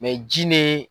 ji ni